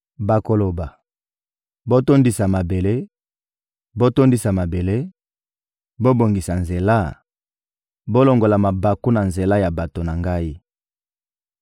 Bakoloba: «Botondisa mabele, botondisa mabele, bobongisa nzela, bolongola mabaku na nzela ya bato na Ngai!»